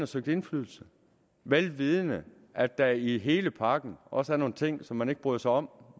søgt indflydelse vel vidende at der i hele pakken også er nogle ting som man ikke bryder sig om